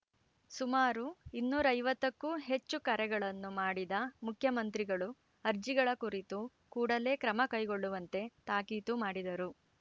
ಸುಮಾರು ಇನ್ನೂರ ಐವತ್ತಕ್ಕೂ ಹೆಚ್ಚು ಕರೆಗಳನ್ನು ಮಾಡಿದ ಮುಖ್ಯಮಂತ್ರಿಗಳು ಅರ್ಜಿಗಳ ಕುರಿತು ಕೂಡಲೇ ಕ್ರಮ ಕೈಗೊಳ್ಳುವಂತೆ ತಾಕೀತು ಮಾಡಿದರು